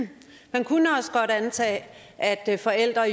man kunne også godt antage at forældre